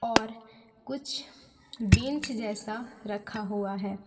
और कुछ बेंच जैसा रखा हुआ है।